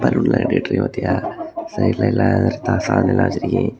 பலூன்ல கட்டி விட்டுருக்காங்க பாத்தியா சைடுல எல்லா சாமி எல்லா வச்சிருக்கி.